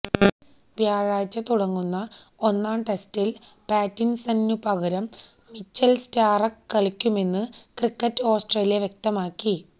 വ്യാഴാഴ്ച തുടങ്ങുന്ന ഒന്നാം ടെസ്റ്റില് പാറ്റിന്സണിനു പകരം മിച്ചല് സ്റ്റാര്ക്ക് കളിക്കുമെന്നു ക്രിക്കറ്റ് ഓസ്ട്രേലിയ വ്യക്തമാക്കി